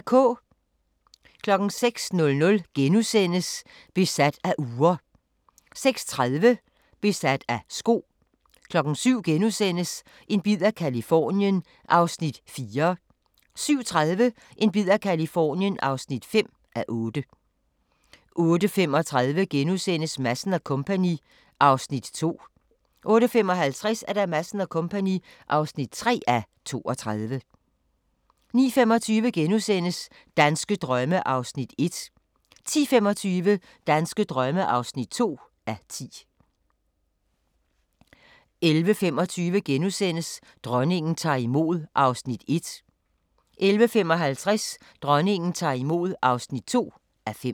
06:00: Besat af ure * 06:30: Besat af sko 07:00: En bid af Californien (4:8)* 07:30: En bid af Californien (5:8) 08:35: Madsen & Co. (2:32)* 08:55: Madsen & Co. (3:32) 09:25: Danske drømme (1:10)* 10:25: Danske drømme (2:10) 11:25: Dronningen tager imod (1:5)* 11:55: Dronningen tager imod (2:5)